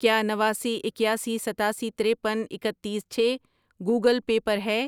کیا نواسی، اکیاسی، ستاسی، ترپن، اکتیس، چھ گوگل پے پر ہے؟